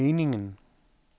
meningen